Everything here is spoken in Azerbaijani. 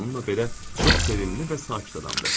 Bununla belə çox sevimli və sakit adamdır.